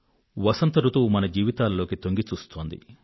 వసంత ఋతువు మన జీవితాల్లోకి తొంగిచూస్తోంది